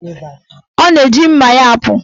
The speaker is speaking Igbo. Ọ na-eji mma ya apụ.